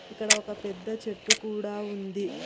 ఇక్కడ ఒక పెద్ద చెట్టు కూడా ఉంది.